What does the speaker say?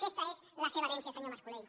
aquesta és la seva herència senyor mas colell